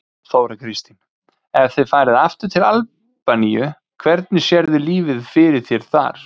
Þóra Kristín: Ef þið farið aftur til Albaníu, hvernig sérðu lífið fyrir þér þar?